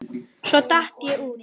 Svo datt ég út af.